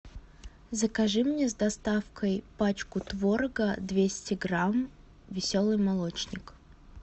закажи мне с доставкой пачку творога двести грамм веселый молочник